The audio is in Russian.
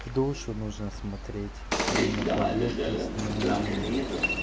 в душу нужно смотреть о не на поверхность не на имя